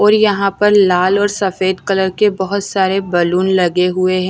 और यहां पर लाल और सफेद कलर के बहुत सारे बलून लगे हुए हैं।